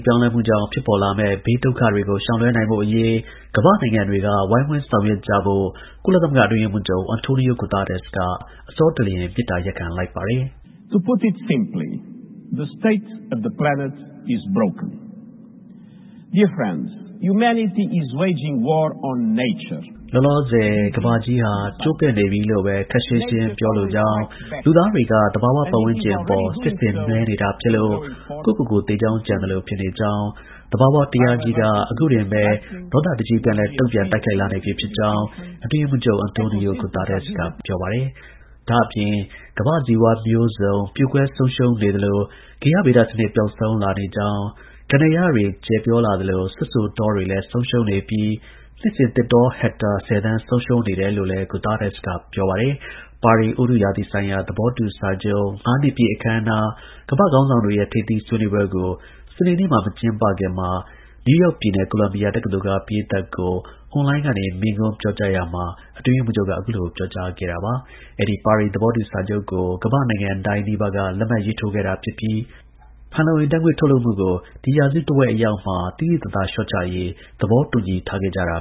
ပြောင်းလဲမှုကြောင့် ဖြစ်ပေါ်လာမယ့် ဘေး ဒုက္ခတွေကို ရှောင်လွှဲနိုင်ဖို့ အရေး ကမ္ဘာ့နိုင်ငံတွေ ဝိုင်းဝန်း ဆောင်ရွက်ကြဖို့ ကုလသမဂ္ဂ အတွင်းရေးမှူးချုပ်Antonio Guterresက အဆောတလျင် မေတ္တာ ရပ်ခံလိုက်ပါတယ်။ လောလောဆယ် ကမ္ဘာဂြိုလ်ကြီးဟာ ကျိုးပဲ့ နေပြီလို့ဘဲ ခပ်ရှင်းရှင်း ပြောလိုကြောင်း၊ လူသားတွေက သဘာဝ ပတ်ဝန်းကျင်အပေါ် စစ်ဆင်နွှဲနေတာ ဖြစ်လို့ ကိုယ့်ကိုယ်ကို သေကြောင်းကြံသလို ဖြစ်နေကြောင်း၊ သဘာဝတရားကြီးက အခုတင်ပဲ ဒေါသတကြီး ပြန်လည် တုန့်ပြန် တိုက်ခိုက်လာနေပြီ ဖြစ်ကြောင်း အတွင်းရေးမှူးချုပ် Antonio Guterresက ပြောပါတယ်။ ဒါ့အပြင် ကမ္ဘာ့ ဇီဝမျိုးစုံ ပျိုကွဲဆုံးရှုံးနေသလို ဂေဟဗဒစနစ် ပျောက်ဆုံးလာနေကြောင်း၊ ကန္တာရတွေ ကျယ်ပြောလာသလို စွတ်စို တော တွေလည်း ဆုံးရှုံနေပြီး နှစ်စဉ် သစ်တော ဟက်တာ ၁၀ သန်း ဆုံးရှုံးနေတယ်လို့လည်း Antonio Guterres က ပြောပါတယ်။ ပါရီ ဥတုရာသီဆိုင်ရာ သဘောတူ စာချုပ် ငါးနှစ်ပြည့် အခမ်းအနား ကမ္ဘာ့ ခေါင်းဆောင်တွေရဲ့ ထိပ်သီး ဆွေးနွေးပွဲကို စနေနေ့မှာ မကျင်းပခင် အကြို နယူးယောက်ပြည်နယ် ကိုလံဘီယာ တက္ကသိုလ်က ပရိသတ်ကို အွန်လိုင်းကနေ မိန့်ခွန်းပြောကြားရာမှာ အတွင်းရေးမှူးချုပ်က အခုလို ပြောကြားခဲ့တာပါ။ အဲဒီ သဘောတူ စာချုပ်ကို ကမ္ဘာ့နိုင်ငံတိုင်း နီးပါးက လက်မှတ်ရေးထိုးခဲ့တာ ဖြစ်ပြီး ကမ္ဘာကြီး ပူနွေးလာမှုကို ကန့်သတ်ရေးနဲ့ ဖန်လုံအိမ် ဓါတ်ငွေ့ ထုတ်လွှတ်မှုကို ဒီရာစုတဝက် အရောက် သိသိသာသာ လျှော့ချရေး သဘောတူညီထားကြတာ